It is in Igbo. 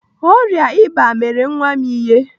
Ọrịa ịba mere nwa m ihe.